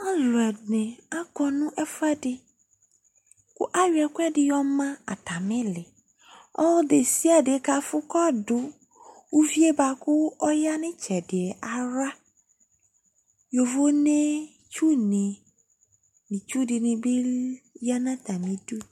aloɛdini akɔ no ɛfuɛdi kò ayɔ ɛkòɛdi yɔma atami ili ɔlò desiade kafò k'ɔdò uvie boa kò ɔya n'tsɛdiɛ ala yovonɛ tsu ni no itsu di ni bi ya n'atami du